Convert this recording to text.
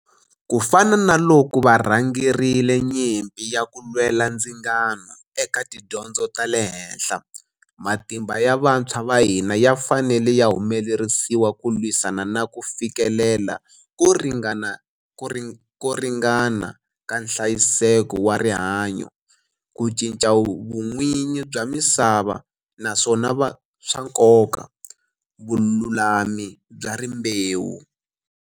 Ku fana na loko varhangerile nyimpi ya ku lwela ndzingano eka tidyondzo ta le henhla, matimba ya vantshwa va hina ya fanele ya humelerisiwa ku lwisana na ku fi kelela ko ringa-na ka nhlayiseko wa rihanyo, ku cinca vun'wini bya misava, naswona swa nkoka, vululami bya rimbewu.